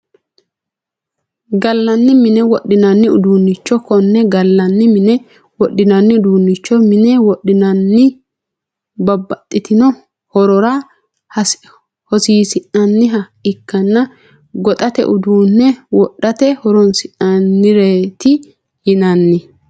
Galani mine wodhinani uduunicho kone galani mine wodhinani uduunicho mine wodhineena bababxitino horora hosiisinaniha ikanna goxate uduune wodhate horonsinanireeti yinani.